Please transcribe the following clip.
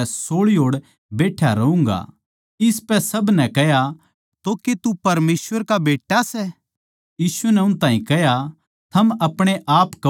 इसपै सब नै कह्या तो के तू परमेसवर का बेट्टा सै यीशु नै उन ताहीं कह्या थम अपणे आप्पे कहो सों क्यूँके मै सूं